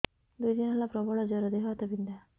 ଦୁଇ ଦିନ ହେଲା ପ୍ରବଳ ଜର ଦେହ ହାତ ବିନ୍ଧା